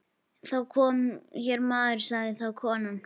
Það kom hér maður, sagði þá konan.